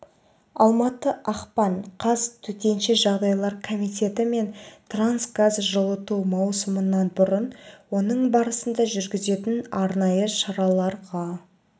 алматы ақпан қаз төтенше жағдайлар комитеті мен қазтрансгаз жылыту маусымынан бұрын оның барысында жүргізетін арнайы шараларға